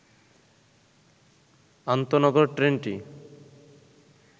আন্তঃনগর ট্রেনটি